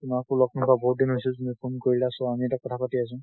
তোমাক ও লগ নোপোৱা বহুত দিন হৈছে, তুমি phone কৰিলা so আমি কথা পাতি আছো।